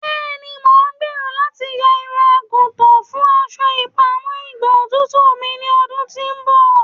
Bẹẹni, Mo n gbero lati yan irun-agutan fun aṣọ ipamọ igba otutu mi ni ọdun ti n bọ